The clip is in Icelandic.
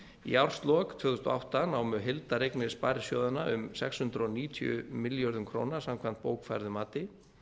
í árslok tvö þúsund og átta námu heildareignir sparisjóðanna um sex hundruð níutíu milljörðum króna samkvæmt bókfærðu mati